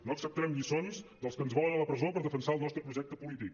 no acceptarem lliçons dels que ens volen a la presó per defensar el nostre projecte polític